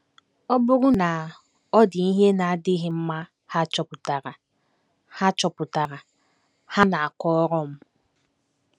Ọ bụrụ na ọ dị ihe na - adịghị mma ha chọpụtara, ha chọpụtara, ha na - akọrọ m.